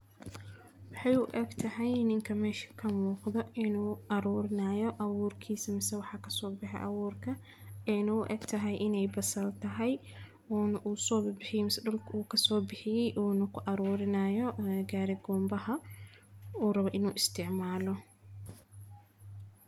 muxu u eg tahay ininka meeshii kan muuqda inuu aruurinayo awuurkiisa. Masa waxa ka soo bixa awoorka ee nuug u eg tahay inay bas al tahay oo na u soo biibismi dhulka uu ka soo bixiyay uuna ku aruri nayo gaarigoon baha u rabo inuu isticmaalo.